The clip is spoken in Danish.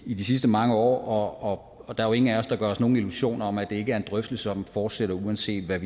i de sidste mange år og der er jo ingen af os der gør os nogen illusioner om at det ikke er en drøftelse som fortsætter uanset hvad